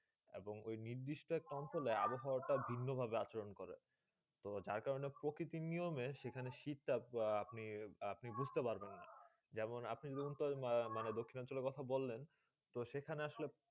এবং ঐই নির্দিষ্ট আবহাওয়া তা ভিন্ন ভাবে আচরণ করে তো যা ক্রোন প্রকৃতি নিয়মে সিট্ তা আপনি বুঝতে পারবেন জেমন আপনি দক্ষিণ অঞ্চলে কথা বললেন তো সেখানে আসলে